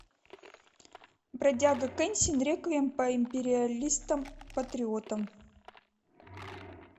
бродяга кэнсин реквием по империалистам патриотам